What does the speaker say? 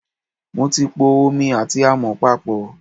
Mo ti po omi àti àmọ̀ papọ̀.